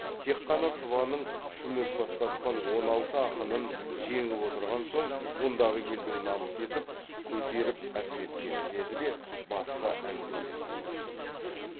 тек қана сыбаның шүмек бастатқан он алты ақынын жеңіп отырған соң мұндағы елдің намыс етіп көтеріп әпкеткені деді де басқа әңгімелерге көшіп кетті